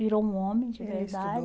Virou um homem, de